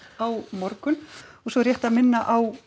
á morgun og svo er rétt að minna á